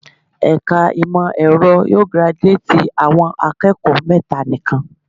Ẹ̀ka ìmọ̀ ẹ̀rọ yóò giraduátì àwọn akẹ́kọ̀ọ́ mẹ́ta nikan.